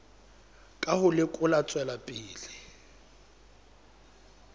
ka ho lekola tswelopele ya